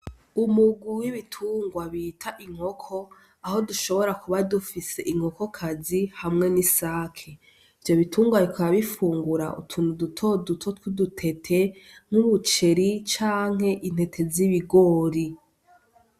Umurwi w'ibitungwa bita inkoko, aho dushobora kuba dufise inkokokazi hamwe n'isake, ivyo bitungwa bikaba bifungura utuntu duto duto tw'udutete nk'umuceri canke intete z'ibigori.